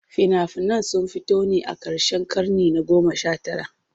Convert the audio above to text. Fina-finan sun fito ne a karshen karni na 19.